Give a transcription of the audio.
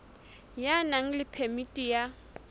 ya nang le phemiti ya